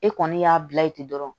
E kɔni y'a bila ye ten dɔrɔn